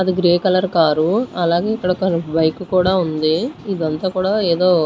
అది grey colour car అలాగే ఇక్కడ ఒక బైకు కూడా ఉంది ఇదంతా కూడా ఏదో--